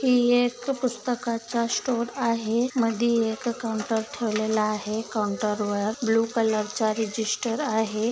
ही एक पुस्तकाचा स्टोर आहे मधी एक काऊंटर ठेवलेला आहे काऊंटर वर ब्ल्यु कलर च्या रजिस्टर आहे.